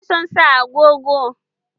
Ina son sa agogo.